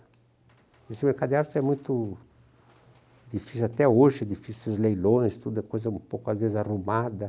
Esse mercado de arte, é muito difícil até hoje, difíceis os leilões, tudo é coisa um pouco, às vezes, arrumada.